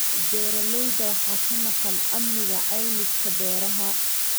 Beeralayda waxaa ka maqan amniga caymiska beeraha.